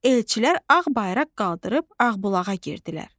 Elçilər ağ bayraq qaldırıb Ağbulağa girdilər.